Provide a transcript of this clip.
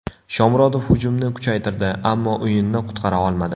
Shomurodov hujumni kuchaytirdi, ammo o‘yinni qutqara olmadi.